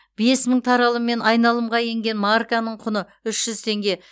бес мың таралыммен айналымға енген марканың құны үш жүз теңге